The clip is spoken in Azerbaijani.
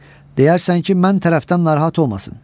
Deyərsən ki, mən tərəfdən narahat olmasın.